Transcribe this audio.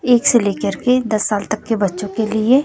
एक से लेकर के दस साल तक के बच्चों के लिए--